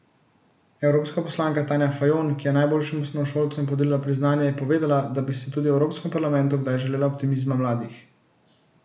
Evropska poslanka Tanja Fajon, ki je najboljšim osnovnošolcem podelila priznanja, je povedala, da bi si tudi v Evropskem parlamentu kdaj želela optimizma mladih.